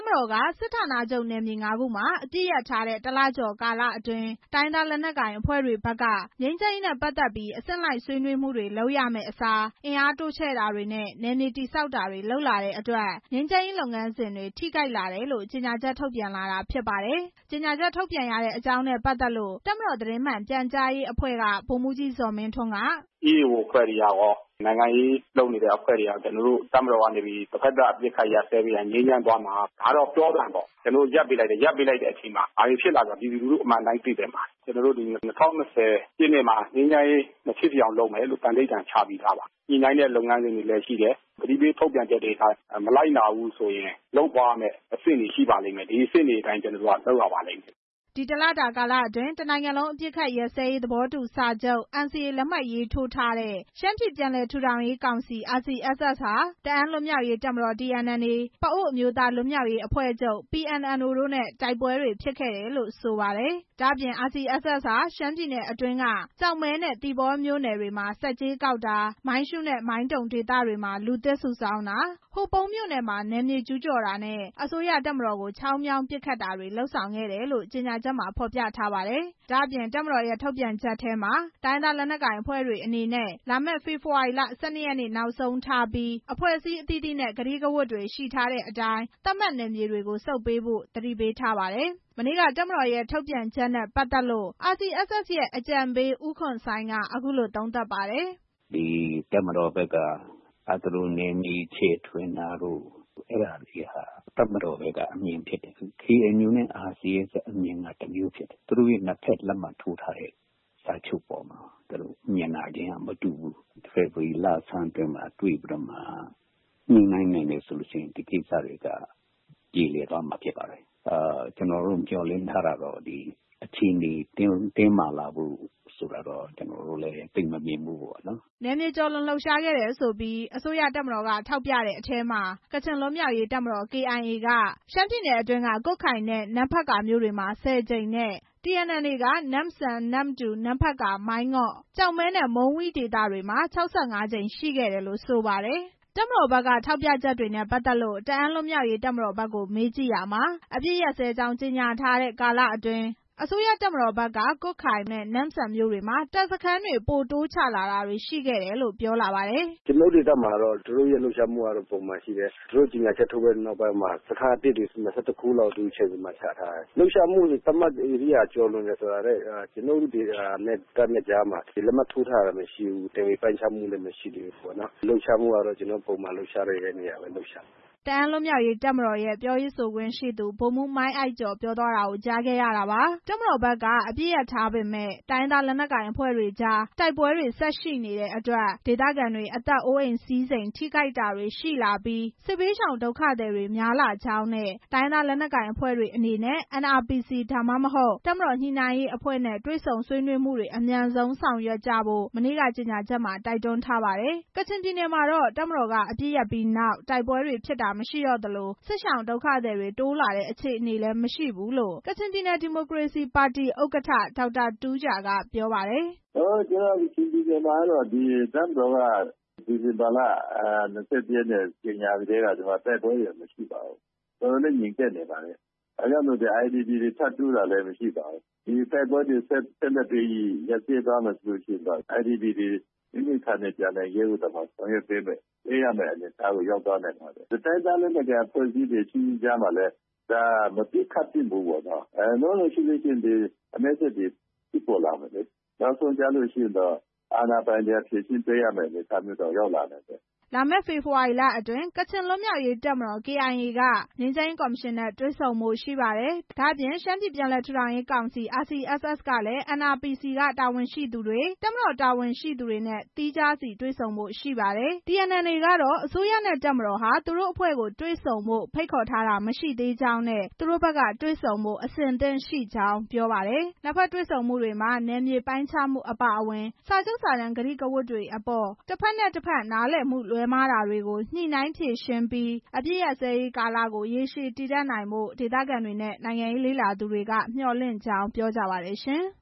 မတော်က စစ်ဌာနချုပ်နယ်မြေ ၅ ခုမှာ အပစ်ရပ်စဲထားတဲ့ ၁ လကျော် ကာလအတွင်း တိုင်းရင်းသား လက် နက်ကိုင်အဖွဲ့တွေဘက်က ငြိမ်းချမ်းရေးနဲ့ ပတ်သက်ပြီး အဆင့်လိုက် ဆွေးနွေးမှုတွေလုပ်ရမယ့်အစား အင်အားတိုးချဲ့တာတွေနဲ့ နယ်မြေတည်ဆောက်တာတွေ လုပ်ဆောင်လာတဲ့အတွက် ငြိမ်းချမ်းရေးလုပ်ငန်းစဉ်တွေ ထိခိုက်လာတယ်လို့ ကြေညာချက် ထုတ်ပြန်လာတာဖြစ်ပါတယ်။ ကြေညာချက်ထုတ်ပြန်ရတဲ့ အကြောင်းရင်းနဲ့ပတ်သက်လို့ တပ်မတော် သတင်းမှန်ပြန်ကြားရေးအဖွဲ့က ဗိုလ်မှူးကြီး ဇော်မင်းထွန်းက "EAO အဖွဲ့တွေကကော၊ နိုင်ငံရေးအဖွဲ့တွေကကော တပ်မတော်က တစ်ဖက်သတ် အပစ်ရပ်ပေးလိုက်ရင် ငြိမ်းချမ်းသွားမှာ ဒါကတော့ ပြောသံပေါ့။ ကျနော်တို့ ရပ်ပေးလိုက်တယ်။ ရပ်ပေးလိုက်တော့ ဘာတွေဖြစ်လာသလဲဆိုတာ ပြည်သူလူထု အမှန်တိုင်း သိသင့်ပါတယ်။ ကျနော်တို့ ၂၀၂၀ ပြည့်နှစ်မှာ ငြိမ်းချမ်းရေးလုပ်မယ်လို့ သန္နိဋ္ဌာန် ချပြီးသားပါ။ ညှိနှိုင်းတဲ့ လုပ်ငန်းစဉ်တွေလည်း ရှိတယ်။ သတိပေးထုတ်ပြန်ချက်တွေ မလိုက်နာရင် လုပ်သွားရမယ့် အဆင့်တွေအတိုင်း ကျနော်တို့လုပ်ရပါမယ်" ဒီတစ်လတာကာလအတွင်း တစ်နိုင်ငံလုံး အပစ်ခတ်ရပ်စဲရေး သဘောတူစာချုပ် NCA လက်မှတ်ရေးထိုးထားတဲ့ ရှမ်းပြည်ပြန်လည်ထူထောင်ရေးကောင်စီ RCSS ဟာ တအာင်းလွတ်မြောက်ရေးတပ်မတော် TNLA၊ ပအိုဝ်း အမျိုးသားလွတ်မြောက်ရေးအဖွဲ့ချုပ် PNLO တို့နဲ့ တိုက်ပွဲတွေဖြစ်ပွားခဲ့တယ်လို့ ဆိုပါတယ်။ ဒါ့အပြင် RCSS ဟာ ရှမ်းပြည်နယ်အတွင်းက ကျောက်မဲနဲ့ သီပေါမြို့နယ်တွေမှာ ဆက်ကြေးကောက်တာ၊ မိုင်းရှူးနဲ့ မိုင်းတုံဒေသတွေမှာ လူသစ်စုဆောင်းတာ၊ ဟိုပုံးမြို့နယ်မှာ နယ်မြေကျူးကျော်တာနဲ့ အစိုးရတပ်တွေကို ချောင်းမြောင်းပစ်ခတ်တာတွေ လုပ်ဆောင်ခဲ့တယ်လို့ ကြေညာချက်မှာ ဖော်ပြထားပါတယ်။ တပ်မတော်ရဲ့ ထုတ်ပြန်ချက်ထဲမှာ တိုင်းရင်းသားလက်နက်ကိုင်အဖွဲ့တွေအနေနဲ့ လာမယ့် ဖေဖော်ဝါရီလ ၁၂ ရက်နေ့ နောက်ဆုံးထားပြီး အဖွဲ့အစည်းအသီးသီးနဲ့ ကတိကဝတ်တွေရှိတဲ့အတိုင်း သတ်မှတ်နယ်မြေတွေကို ပြန်ဆုတ်ခွာပေးဖို့ သတိပေးထားပါတယ်။ မနေ့က တပ်မတော်ရဲ့ ထုတ်ပြန်ချက်နဲ့ပတ်သက်လို့ RCSS ရဲ့ အကြံပေး ဦးခွန်ဆိုင်းက အခုလို သုံးသပ်ပါတယ်။ "တပ်မတော်ဘက်က နယ်မြေချဲ့ထွင်တာတို့ အဲ့ဒါတွေဟာ တပ်မတော်ဘက်က အမြင်ဖြစ်တယ်။ KNU နဲ့ RCSS အမြင်က တစ်မျိုးဖြစ်တယ်။ သူတို့နှစ်ဘက် လက်မှတ်ထိုးထားတဲ့ စာချုပ်ပေါ်မှာ သူတို့အမြင်က မတူဘူး။ ဖေဖော်ဝါရီလအတွင်းမှာ တွေ့လို့ဆီရင် ဒီကိစ္စတွေက ပြေလည်သွားမှာဖြစ်ပါတယ်။ ကျနော်တို့က အခြေအနေ တင်းမာလာမယ်လို့တော့ သိပ်တော့ မမြင်ဘူးခင်ဗျ" နယ်မြေကျော်လွန်လှုပ်ရှားခဲ့တယ်ဆိုပြီး အစိုးရတပ်မတော်က ထောက်ပြတဲ့အထဲမှာ ကချင်လွတ်မြောက်ရေး တပ်မတော် KIA က ရှမ်းပြည်နယ်အတွင်းက ကွတ်ခိုင်နဲ့ နမ့်ဖတ်ကာမြို့တွေမှာ ၁၀ ကြိမ်နဲ့ TNLA က နမ်ဆန်၊ နမ္မတူ၊ နမ့်ဖက်ကာ၊ မိုင်းငေါ့၊ ကျောက်မဲနဲ့ မုန်းဝီးဒေသတွေမှာမှာ ၆၅ ကြိမ် ရှိခဲ့တယ်လို့ ဆိုပါတယ်။ တပ်မတော်ဘက်က ထောက်ပြချက်တွေနဲ့ ပတ်သက်လို့ တအာင်းလွတ်မြောက်ရေး တပ်မတော်ဘက်ကို မေးကြည့်ရာမှာ အပစ်ရပ်စဲကြောင်း ကြေညာထားတဲ့ ကာလအတွင်း အစိုးရတပ်ဘက်က ကွတ်ခိုင်၊ မန်တုံနဲ့ နန်ဆန်မြို့တွေမှာ တပ်စခန်းတွေ ပိုတိုးချလာတာတွေရှိခဲ့တယ်လို့ ပြောလာပါတယ်။ "ကျနော်တို့ဒေသမှာတော့ သူတို့ရဲ့ လှုပ်ရှားမှုကတော့ ပုံမှန်အတိုင်းရှိတယ်။ သူတို့ကြေညာချက် ထုတ်ပြန်ပြီးနောက်ပိုင်းမှာ စခန်းအသစ်တွေ ၂၁ ခုလောက် တိုးချဲ့ပြီးချထားတာတွေ့ရတယ်။ လှုပ်ရှားမှု သတ်မှတ်ဧရိယာကျော်တယ်ဆိုတာ ကျနော်တို့နဲ့ တပ်နဲ့ ကြားမှာ လက်မှတ်ထိုးထားတာ၊ နယ်မြေပိုင်းခြားတာ မရှိသေးဘူး။ လှုပ်ရှားမှုကတော့ ပုံမှန်လှုပ်ရှားတဲ့နေရာပဲ လှုပ်ရှားတာပါ" တအာင်းလွတ်မြောက်ရေးတပ်မတော်ရဲ့ ပြောရေးဆိုခွင့်ရှိသူ ဗိုလ်မှူး မိုင်းအိုက်ကျော် ပြောသွားတာကို ကြားခဲ့ရတာပါ။ တပ်မတော်ဘက်က အပစ်ရပ်ထားပေမယ့် တိုင်းရင်းသားအဖွဲ့တွေကြား တိုက်ပွဲတွေ ဆက်ရှိနေခဲ့တဲ့အတွက် ဒေသခံတွေ အသက်အိုးအိမ်စည်းစိမ် ထိခိုက်တာတွေရှိလာပြီး စစ်ဘေးရှောင်ဒုက္ခသည်တွေ များလာကြောင်းနဲ့ တိုင်းရင်းသားလက်နက်ကိုင်အဖွဲ့တွေအနေနဲ့ NRPC ဒါမှမဟုတ် တပ်မတော်ညှိနှိုင်းရေးအဖွဲ့နဲ့ တွေ့ဆုံဆွေးနွေးမှုတွေ အမြန်ဆုံးဆောင်ရွက်ကြဖို့ မနေ့က ကြေညာချက်မှာ တိုက်တွန်းထားပါတယ်။ ကချင်ပြည်နယ်မှာတော့ တပ်မတော်က အပစ်ရပ်ပြီးနောက် တိုက်ပွဲတွေဖြစ်တာမရှိသလို စစ်ရှောင် ဒုက္ခသည်တွေ တိုးလာတဲ့ အခြေအနေလည်း မရှိဘူးလို့ ကချင်ပြည်နယ် ဒီမိုကရေစီပါတီ ဥက္ကဋ္ဌ ဒေါက်တာ တူးဂျာ က ပြောပါတယ်။ "ကျနော်တို့ ကချင်ပြည်နယ်မှာတော့ တပ်မတော်က ဒီဇင်ဘာလ ၂၁ ရက်နေ့က ကြေညာပြီးနောက်ပိုင်း တိုက်ပွဲတွေ မရှိပါဘူး။ တော်တော်လေး ငြိမ်သက်နေတယ်။ IDP တွေထပ်တိုးတာလည်း မရှိပါဘူး။ တိုက်ပွဲတွေ ဆက်ရပ်မယ်ဆိုရင် IDP တွေ မိမိဌာနေပြန်နိုင်ရေးကို ဆောင်ရွက်ပေးရမယ့် အနေအထားရှိပါတယ်။ တိုင်းရင်းသားလက်နက်ကိုင်အချင်းချင်းတွေကြားမှာလည်း မပစ်ခတ်သင့်ဘူး။ မဟုတ်ရင် အမဲစက်တွေဖြစ်လာမယ်။ နောက်ဆုံးကျရင် အာဏာပိုင်တွေက ဖြေရှင်းပေးရမယ့် အနေအထား ကို ရောက်လာနိုင်တယ်" လာမယ့် ဖေဖော်ဝါရီလအတွင်း ကချင်လွတ်မြောက်ရေးတပ်မတော် KIO က ငြိမ်းချမ်းရေးကော်မရှင်နဲ့ တွေ့ဖို့ ရှိနေပါတယ်။ ဒါ့အပြင် ရှမ်းပြည်ပြန်လည်ထူထောင်ရေးကောင်စီ RCSS ကလည်း NRPC တာဝန်ရှိသူတွေ၊ တပ်မတော်က တာဝန်ရှိသူတွေနဲ့ သီးခြားစီ တွေ့ဆုံသွားဖို့ရှိပါတယ်။ TNLA ကတော့ အစိုးရနဲ့ တပ်မတော်ဟာ သူတို့အဖွဲ့ကို တွေ့ဆုံဖို့ ဖိတ်ခေါ်တာမရှိသေးကြောင်းနဲ့ သူတို့ဘက်က တွေ့ဆုံဖို့ အဆင့်သင့်ရှိကြောင်း ပြောပါတယ်။ နှစ်ဘက်တွေ့ဆုံမှုတွေမှာ နယ်မြေပိုင်းခြားမှုအပါအဝင် စာချုပ်စာတမ်းပါ ကတိကဝတ်တွေအပေါ် တစ်ဘက်နဲ့ တစ်ဘက် နားလည်မှု လွဲမှားချက်တွေကို ညှိနှိုင်းဖြေရှင်းပြီး အပစ်ရပ်စဲရေးကာလကို ရေရှည်တည်တံ့နိုင်ဖို့ ဒေသခံတွေနဲ့ နိုင်ငံရေးလေ့လာသူတွေက မျှော်လင့်ကြောင်း ပြောကြပါတယ်ရှင်။